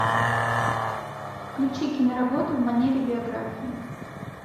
включи киноработу в манере биографии